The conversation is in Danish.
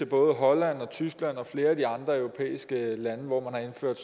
både holland og tyskland og flere af de andre europæiske lande hvor man har indført